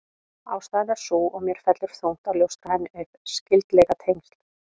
Ástæðan er sú, og mér fellur þungt að ljóstra henni upp: Skyldleikatengsl